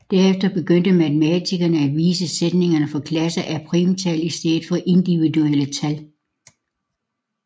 Derefter begyndte matematikere at vise sætningen for klasser af primtal i stedet for individuelle tal